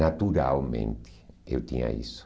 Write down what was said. Naturalmente eu tinha isso.